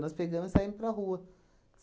Nós pegamos e saímos para rua.